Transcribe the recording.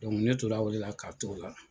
ne tora o de la ka to la.